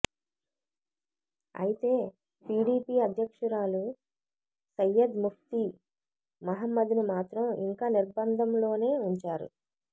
అయితే పీడీపీ అధ్యక్షురాలు సయ్యద్ ముఫ్తీ మహ్మద్ను మాత్రం ఇంకా నిర్బంధంలోనే ఉంచారు